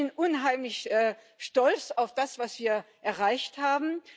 Also ich bin unheimlich stolz auf das, was wir erreicht haben.